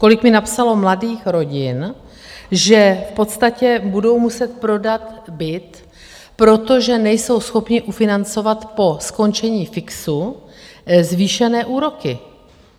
Kolik mi napsalo mladých rodin, že v podstatě budou muset prodat byt, protože nejsou schopny ufinancovat po skončení fixu zvýšené úroky.